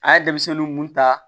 A ye denmisɛnninw mun ta